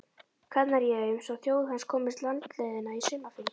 Kanaríeyjum svo þjóð hans komist landleiðina í sumarfrí.